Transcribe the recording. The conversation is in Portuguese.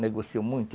Negociou muito.